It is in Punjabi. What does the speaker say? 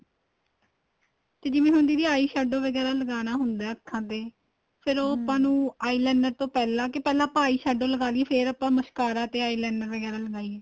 ਤੇ ਜਿਵੇਂ ਹੁਣ ਦੀਦੀ eye shadow ਵਗੈਰਾ ਲਗਾਣਾ ਹੁੰਦਾ ਅੱਖਾ ਤੇ ਫ਼ੇਰ ਆਪਾਂ ਨੂੰ eye liner ਤੋ ਪਹਿਲਾਂ ਕੇ ਪਹਿਲਾਂ ਆਪਾਂ eye shadow ਲਗਾਹ ਲਈਏ ਫ਼ੇਰ ਆਪਾਂ mascara ਤੇ eye liner ਵਗੈਰਾ ਲਗਾਈਏ